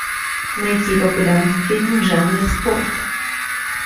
найти популярный фильм в жанре спорт